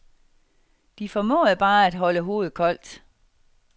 De formåede bare at holde hovedet koldt.